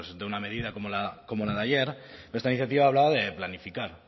de bueno pues de una medida como la de ayer pero esta iniciativa hablaba de planificar